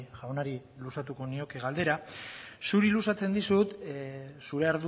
jaunari luzatuko nioke galdera zuri luzatzen dizut zure